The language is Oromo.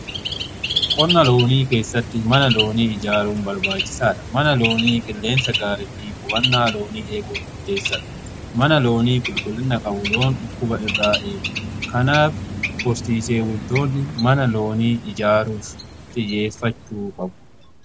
Qonna loonii keessatti mana loonii ijaaruun barbaachisaa dha. Mana loonii qilleensa gaarii fi qubannaa loonii eeguun murteessaadha. Mana loonii qulqullina qabu loon dhukkuba irraa eegu. Kanaaf horsiisee bultoonni mana loonii ijaaruuf xiyyeeffachuu qabu.